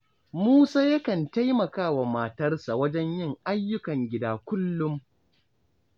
Musa yakan taimaka wa matarsa wajen yin ayyukan gida kullum